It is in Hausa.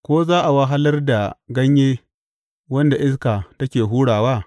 Ko za a wahalar da ganye wanda iska take hurawa?